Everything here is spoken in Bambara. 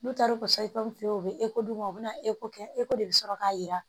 N'u taara u ka feere u bɛ d'u ma u bɛna eko kɛ eko de bɛ sɔrɔ k'a jira